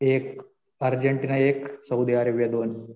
एक अर्जेंटिना एक, Saudi Arabia दोन.